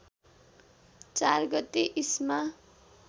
४ गते इस्मा